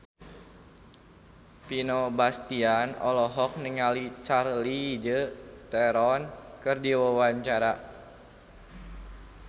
Vino Bastian olohok ningali Charlize Theron keur diwawancara